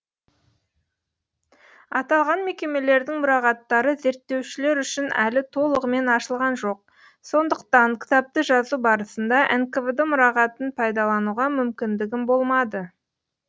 аталған мекемелердің мұрағаттары зерттеушілер үшін әлі толығымен ашылған жоқ сондықтан кітапты жазу барысында нквд мұрағатын пайдалануға мүмкіндігім болмады